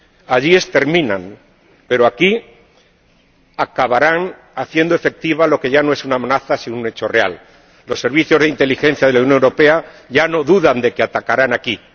Allí exterminan, pero aquí acabarán haciendo efectiva lo que ya no es una amenaza, sino un hecho real los servicios de inteligencia de la Unión Europea ya no dudan de que atacarán aquí.